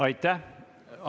Aitäh!